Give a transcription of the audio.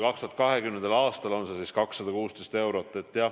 2020. aastal on see summa 216 eurot.